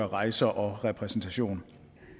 rejser og repræsentation